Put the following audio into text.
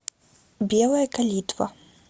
белая калитва